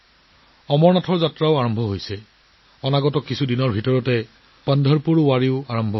অমৰনাথ যাত্ৰাও আৰম্ভ হৈছে আৰু অহা কেইদিনমানৰ পৰাও পন্ধৰপুৰ ৱাৰীও আৰম্ভ হ'ব